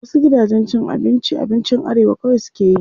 Wasu gidajen cin abincin abinci arewa kawai suke yi.